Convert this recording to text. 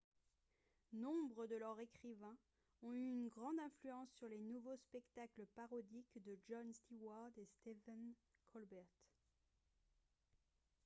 nombre de leurs écrivains ont eu une grande influence sur les nouveaux spectacles parodiques de jon steward et stephen colbert